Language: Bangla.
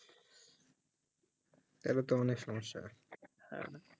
তালে টো অনেক সমস্যা